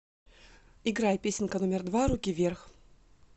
играй песенка номер два руки вверх